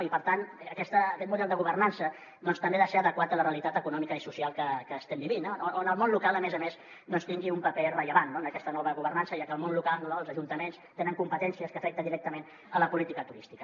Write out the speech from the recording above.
i per tant aquest model de governança també ha de ser adequat a la realitat econòmica i social que estem vivint on el món local a més a més tingui un paper rellevant en aquesta nova governança ja que el món local els ajuntaments tenen competències que afecten directament la política turística